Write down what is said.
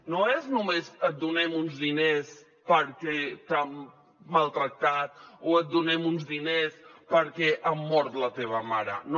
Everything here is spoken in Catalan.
no és només et donem uns diners perquè t’han maltractat o et donem uns diners perquè han mort la teva mare no